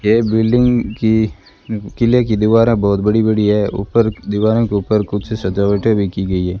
ये बिल्डिंग की किले की दीवारें बहुत बड़ी बड़ी हैं ऊपर दीवारों के ऊपर कुछ सजावटें भी की गई है।